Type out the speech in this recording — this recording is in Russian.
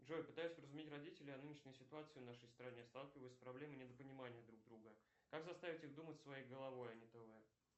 джой пытаюсь вразумить родителей о нынешней ситуации в нашей стране сталкиваюсь с проблемой недопонимания друг друга как заставить их думать своей головой а не тв